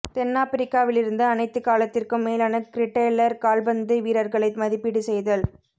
தென்னாப்பிரிக்காவிலிருந்து அனைத்து காலத்திற்கும் மேலான கிரேட்டெல்லர் கால்பந்து வீரர்களை மதிப்பீடு செய்தல்